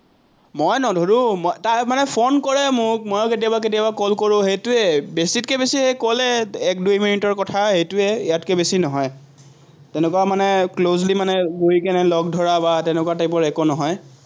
মই নধৰো, তাই মানে ফোন কৰে মোক, ময়ো কেতিয়াবা কেতিয়াবা call কৰোঁ, সেইটোৱেই। বেছিতকে বেছি সেই call এই এক-দুই মিনিটৰ কথা, সেটোৱেই ইয়াতকে বেছি নহয়। তেনেকুৱা মানে closely মানে গৈ কেনে লগ ধৰা বা তেনেকুৱা type ৰ একো নহয়।